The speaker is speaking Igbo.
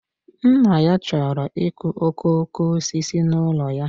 Nna ya chọrọ ịkụ okooko osisi n'ụlọ ya